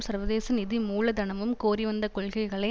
சர்வதேச நிதி மூலதனமும் கோரி வந்த கொள்கைகளை